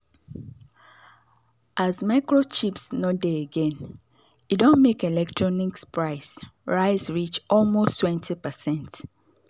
as microchips no dey again e don make electronics price rise reach almost 20%.